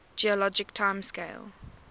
geologic time scale